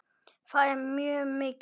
Það er mjög mikið.